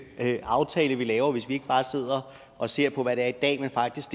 aftale vi laver hvis vi ikke bare sidder og ser på hvad det er i dag men faktisk